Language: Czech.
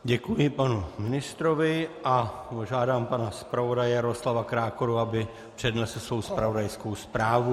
Děkuji panu ministrovi a požádám pana zpravodaje Jaroslava Krákoru, aby přednesl svou zpravodajskou zprávu.